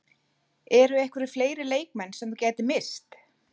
Eru einhverjir fleiri leikmenn sem þú gætir misst?